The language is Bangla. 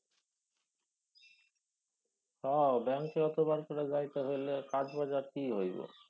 হ ব্যাঙ্কে অতবার করে যাইতে হইলে তারপর আর কি হইব।